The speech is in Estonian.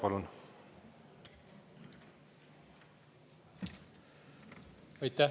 Palun!